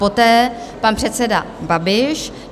Poté pan předseda Babiš.